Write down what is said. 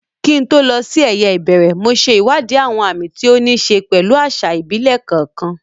Kí n tó lọ sí eyeìbẹ̀rẹ̀, mo ṣe ìwádìí àwọn àmì tí ó ní í ṣe pẹ̀lú àṣà ìbílẹ̀ kọ̀ọ̀kan.